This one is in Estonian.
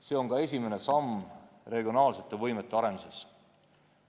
See on ka esimene samm regionaalsete võimete arenduses.